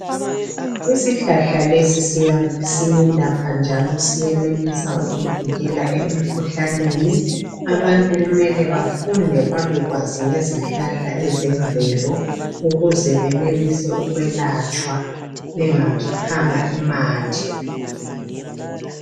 Isihlahla lesi siyelapha njalo siyenelisa ukuvikela emikhuhlaneni abantu kumele bafunde bebekwazi ngezihlahla ezemvelo ukuze benelise ukwelatshwa bengakhiphanga imali